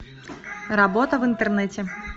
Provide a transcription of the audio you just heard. работа в интернете